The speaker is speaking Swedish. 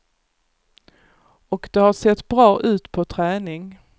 Och det har sett bra ut på träning.